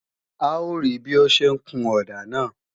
A ó rí bí ó ń ṣe ń kun ọ̀dà náà